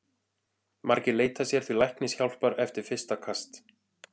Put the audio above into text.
Margir leita sér því læknishjálpar eftir fyrsta kast.